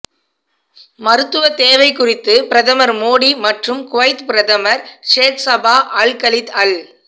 மருத்துவ தேவை குறித்து பிரதமர் மோடி மற்றும் குவைத் பிரதமர் ஷேக்சபா அல் கலீத் அல்